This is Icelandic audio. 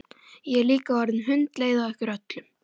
Ég er líka orðin hundleið á ykkur öllum!